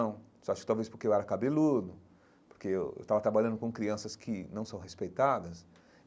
você acha que talvez porque eu era cabeludo, porque eu estava trabalhando com crianças que não são respeitadas.